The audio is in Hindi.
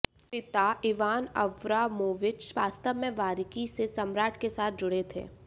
पिता इवान अब्रामोविच वास्तव में बारीकी से सम्राट के साथ जुड़े थे